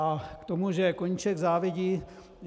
A k tomu, že Koníček závidí.